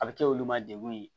A bɛ kɛ olu ma degun ye